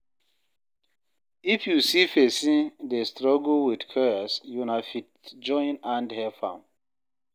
If you see sey person dey struggle with chores, una fit join hand help am